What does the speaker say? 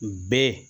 Bɛɛ